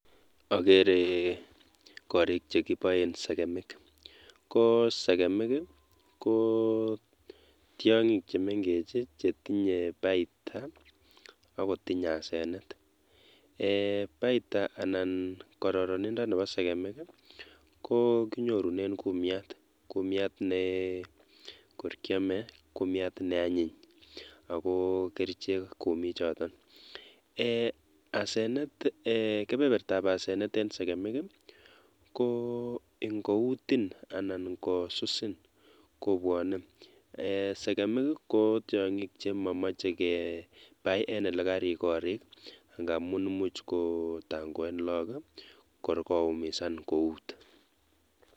Okeree korik chekiboen sekemik kosekemik i, kotiong'ik chemeng'ech chetinye baita akotinye asenet, eeh baita anan kororonindo neboo sekemik ko kinyorunen kumnyat, kumnyat nekor kiomee, kumiat neanyin akokerichek kumichoton, eeh asenet eeh kebebertab asenet en sekemik i, ko ng'outin anan ng'osusin kobwonee, eeh sekemik i kotiong'ik chemomoche kebaii en elekarik korik ng'amun imuch kotang'oen lokok kor koumisan kout.